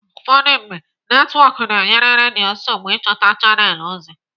Ụfọdụ mgbe, netwọk na-enye redio nsogbu ịchọta chanelụ ozi.